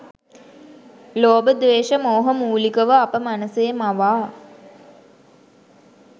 ලෝභ ද්වේශ මෝහ මුලිකව අප මනසේ මවා